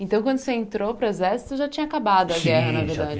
Então, quando você entrou para o exército, já tinha acabado a guerra, na verdade.